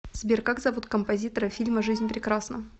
сбер как зовут композитора фильма жизнь прекрасна